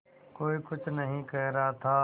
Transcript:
कोई कुछ नहीं कह रहा था